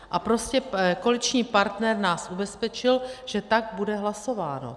A prostě koaliční partner nás ubezpečil, že tak bude hlasováno.